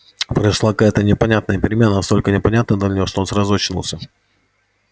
произошла какая то непонятная перемена настолько непонятная для него что он сразу очнулся